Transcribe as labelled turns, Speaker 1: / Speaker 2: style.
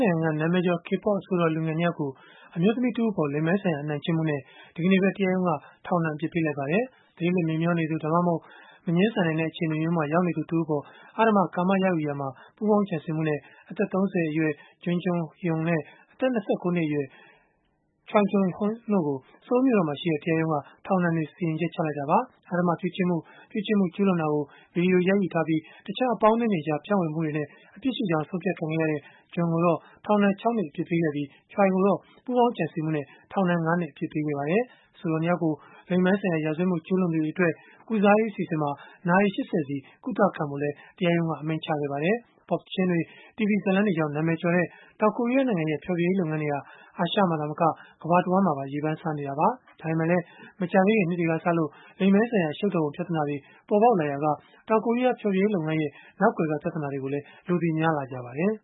Speaker 1: နိုင်ငံက နာမည်ကျော် K-pop အဆိုတော်လူငယ် ၂ ယောက်ကို အမျိုးသမီးတဦးအပေါ် လိင်ပိုင်းဆိုင်ရာ အနိုင်ကျင့်မှုနဲ့ ဒီကနေ့ပဲ တရားရုံးက ထောင်ဒဏ် အပြစ်ပေးလိုက်ပါတယ်။ သတိလစ် မေ့မျောနေသူ၊ ဒါမှမဟုတ် မငြင်းဆန်နိုင်တဲ့ အခြေအနေမျိုးမှာ ရောက်နေသူ တဦးအပေါ် အဓမ္မကာမရယူရာမှာ ပူးပေါင်းကြံစည်မှုနဲ့ အသက် ၃၀ အရွယ် Jung Joon-young နဲ့ အသက် ၂၉ နှစ်အရွယ် Choi Jong-hoon တို့ကို ဆိုးလ်မြို့တော်မှာရှိတဲ့ တရားရုံးက ထောင်ဒဏ်စီရင်ချက် ချလိုက်တာပါ။ အဓမ္မပြုကျင့်မှု၊ ပြုကျင့်မှု ကျုးလွန်တာကို ဗွီဒီယိုရိုက်ယူထားပြီး တခြား အပေါင်းအသင်းတွေကြားမှာ ဖြန့်ဝေမျှမှုတွေနဲ့ အပြစ်ရှိကြောင်း ဆုံးဖြတ်ခံခဲ့ရတဲ့ Jung ကိုတော့ ထောင်ဒဏ် ၆ နှစ် အပြစ်ပေးခဲ့ပြီး၊ Choi ကိုတော့ ပူးပေါင်းကြံစည်မှုနဲ့ ထောင်ဒဏ် ၅ နှစ် အပြစ်ပေးခဲ့ပါတယ်။ အဆိုတော် ၂ ယောက်ကို လိင်ပိုင်းဆိုင်ရာ ရာဇဝတ်မှု ကျုးလွန်သူတွေအတွက် ကုစားရေး အစီအစဉ်မှာ နာရီ ၈၀ စီ ကုသခံဖို့လည်း တရားရုံးက အမိန့်ချခဲ့ပါတယ်။ ပေါ့ပ်သီချင်းတွေ၊ တီဗွီဇာတ်လမ်းတွေကြောင့် နာမည်ကျော်တဲ့ တောင်ကိုရီးယား နိုင်ငံရဲ့ ဖျော်ဖြေရေးလုပ်ငန်းဟာ အာရှမှာသာမက ကမ္ဘာတဝန်းမှာပါ ရေပမ်းစားနေတာပါ။ ဒါပေမဲ့လည်း မကြာသေးခင်နှစ်တွေကစလို့ လိင်ပိုင်းဆိုင်ရာ အရှုပ်တော်ပုံ ပြဿနာတွေ ပေါ်ပေါက်လာရာက တောင်ကိုရီးယား ဖျော်ဖြေရေးလုပ်ငန်းရဲ့ နောက်ကွယ်က ပြဿနာတွေကိုလည်း လူသိများလာခဲ့ကြပါတယ်